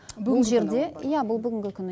бұл жерде иә бұл бүгінгі күні